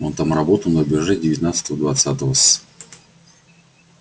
он там работал на рубеже девятнадцатого-двадцатого с